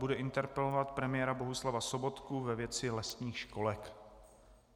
Bude interpelovat premiéra Bohuslava Sobotku ve věci lesních školek.